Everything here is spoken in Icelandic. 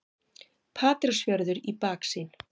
Patreksfjörður í baksýn.